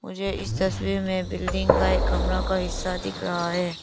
मुझे इस तस्वीर में बिल्डिंग का एक कमरा का हिस्सा दिख रहा है।